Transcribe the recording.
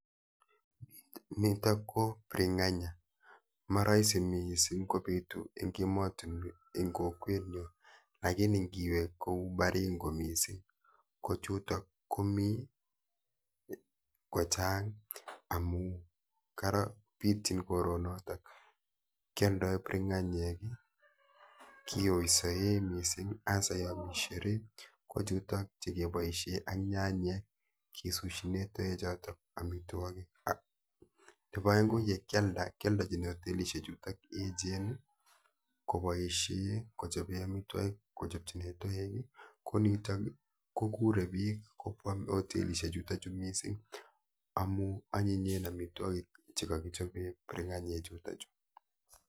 Nito ko biringanya, maraisi mising kobitu eng kokwenyun lakini niwe kou baringo mising kochuto komikochang amun bityin koronondon, kyaldaen biringanyek kiyoysen mising hasa yon mi sherehe ko chutok chekiboisyen ak nyanyek, nebo aeng ko yekyalda kyaldechin hotelishek chu echen koboisyen kochoben amitwokik, kouniton ko kure bik ,amun anyinyen amitwokik chekakichaben biringanyek chutonchu.